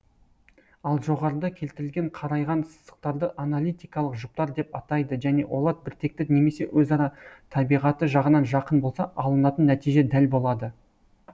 ал жоғарыда келтірілген қарайған сызықтарды аналитикалық жұптар деп атайды және олар біртекті немесе өзара табиғаты жағынан жақын болса алынатын нәтиже дәл болады